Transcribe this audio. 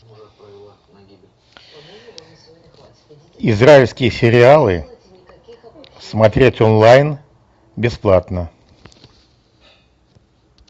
израильские сериалы смотреть онлайн бесплатно